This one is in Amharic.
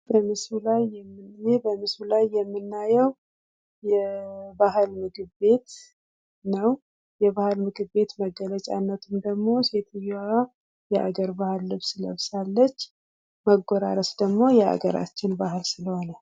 በምስሉ ላይ የምናየው የባህል ምግቤት ነው። ይሄን የምናውቀው ደግሞ ሴትዮዋ የባህል ልብስ ለብሳለች። መጎራረስ ደግሞ ባግላችን ስለሆነ።